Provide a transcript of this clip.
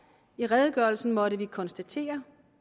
i redegørelsen måtte vi konstatere